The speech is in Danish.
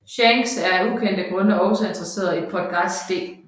Shanks er af ukendte grunde også interesseret i Portgas D